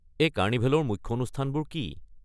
এই কাৰ্নিভেলৰ মুখ্য অনুষ্ঠানবোৰ কি?